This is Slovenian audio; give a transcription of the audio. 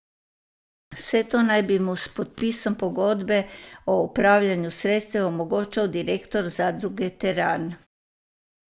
Vse to naj bi mu s podpisom pogodbe o upravljanju sredstev omogočal direktor zadruge Teran.